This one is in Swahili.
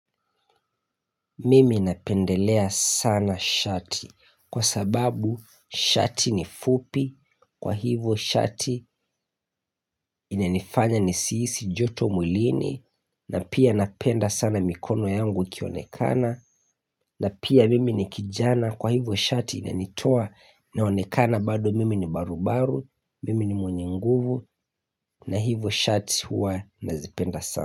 Mimi napendelea sana shati kwa sababu shati ni fupi kwa hivo shati ina nifanya nisihisi joto mwilini na pia napenda sana mikono yangu ikionekana na pia mimi ni kijana kwa hivyo shati ina nitoa naonekana bado mimi ni barubaru mimi ni mwenye nguvu na hivyo shati huwa nazipenda sana.